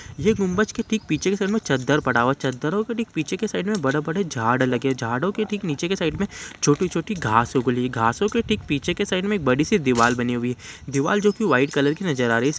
ये गुम्बज के ठीक पीछे के साइड में चददर पड़ा हुआ है चददरो के ठीक पीछे के साइड में बड़े-बड़े झाड़ लगे हुए हैं झाड़ो के ठीक नीचे के साइड में छोटी-छोटी घास उगी है घासो के ठीक पीछे के साइड में एक बड़ी सी दीवार बनी हुई है दीवार जो की व्हाइट कलर की नज़र आ रही है